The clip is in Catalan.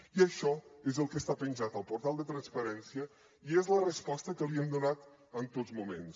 i això és el que està penjat al portal de transparència i és la resposta que li hem donat en tots moments